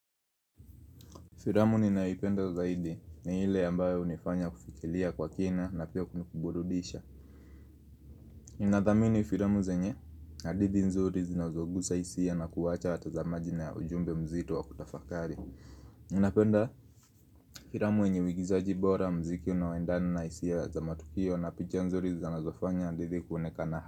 Firamu ninaipenda zaidi ni ile ambayo hunifanya kufikilia kwa kina na pia kunikuburudisha. Ninathamini firamu zenye, hadithi nzuri zinazogusa hisia na kuwacha watazamaji na ya ujumbe mzito wa kutafakari. Napenda firamu enye uigizaji bora, mziki unaoendana na hisia za matukio na picha nzuri zinazofanya handithi kuonekana ha.